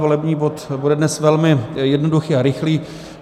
Volební bod bude dnes velmi jednoduchý a rychlý.